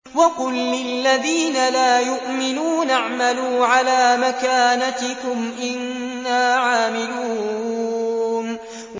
وَقُل لِّلَّذِينَ لَا يُؤْمِنُونَ اعْمَلُوا عَلَىٰ مَكَانَتِكُمْ إِنَّا عَامِلُونَ